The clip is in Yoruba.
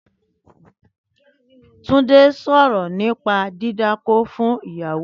Túndé sọ̀rọ̀ nípa dídákó fún ìyàwó rẹ̀